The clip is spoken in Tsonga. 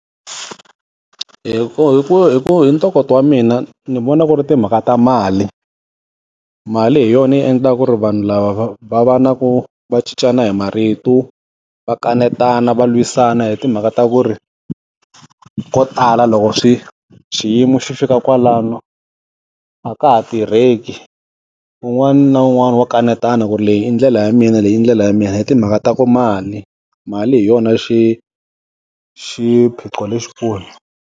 Hi ku hi ku hi ku hi ntokoto wa mina, ndzi vona ku ri timhaka ta mali. Mali hi yona yi endlaka ku ri vanhu lava va va na ku va cincana hi marito, va kanetana, va lwisana hi timhaka ta ku ri, ko tala loko xiyimo xi fika kwalano, a ka ha tirheki. Un'wana na un'wana wa kanetana ku ri leyi i ndlela ya mina leyi i ndlela ya mina hi timhaka ta ku mali. Mali hi yona xiphiqo lexikulu.